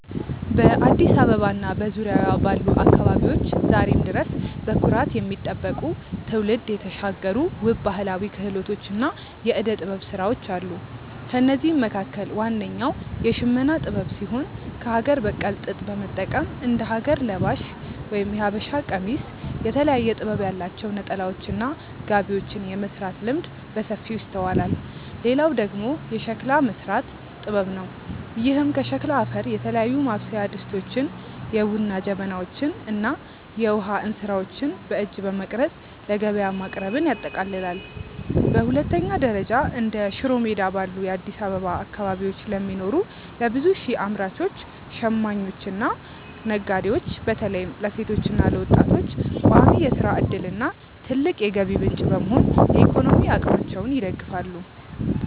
በአዲስ አበባ እና በዙሪያዋ ባሉ አካባቢዎች ዛሬም ድረስ በኩራት የሚጠበቁ፣ ትውልድ የተሻገሩ ውብ ባህላዊ ክህሎቶችና የዕደ-ጥበብ ሥራዎች አሉ። ከእነዚህም መካከል ዋነኛው የሽመና ጥበብ ሲሆን፣ ከአገር በቀል ጥጥ በመጠቀም እንደ ሀገር ለባሽ (የሀበሻ ቀሚስ)፣ የተለያየ ጥበብ ያላቸው ነጠላዎችና ጋቢዎችን የመሥራት ልምድ በሰፊው ይስተዋላል። ሌላው ደግሞ የሸክላ መሥራት ጥበብ ነው፤ ይህም ከሸክላ አፈር የተለያዩ ማብሰያ ድስቶችን፣ የቡና ጀበናዎችን እና የውሃ እንስራዎችን በእጅ በመቅረጽ ለገበያ ማቅረብን ያጠቃልላል። በሁለተኛ ደረጃ፣ እንደ ሽሮ ሜዳ ባሉ የአዲስ አበባ አካባቢዎች ለሚኖሩ ለብዙ ሺህ አምራቾች፣ ሽማኞችና ነጋዴዎች (በተለይም ለሴቶችና ለወጣቶች) ቋሚ የሥራ ዕድልና ትልቅ የገቢ ምንጭ በመሆን የኢኮኖሚ አቅማቸውን ይደግፋሉ።